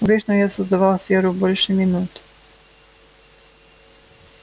обычно я создавал сферу больше минуты